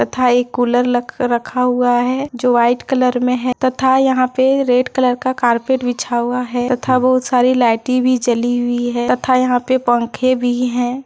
तथा एक कूलर लगा रखा हुआ है जो वाइट कलर में है तथा यहां पर रेड कलर का कारपेट बिछा हुआ है तथा वह सारी लाइटें भी जली हुई है तथा यहां पर पंखे भी हैं।